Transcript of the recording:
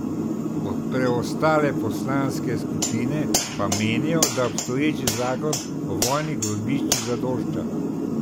Preostale poslanske skupine pa menijo, da obstoječi zakon o vojnih grobiščih zadošča.